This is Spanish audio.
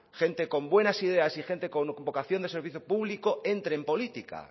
gente con buenas ideas y gentes con vocación de servicio público entre en política